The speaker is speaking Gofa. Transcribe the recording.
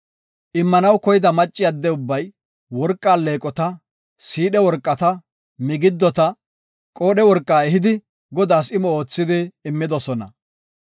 Immanaw koyida macci adde ubbay worqa alleeqota, siidhe worqata, migidota, qoodhe worqa ehidi, Godaas imo oothidi immidosona.